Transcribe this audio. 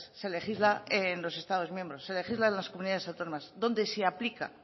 se legisla en los estados miembros se legisla en las comunidades autónomas donde se aplica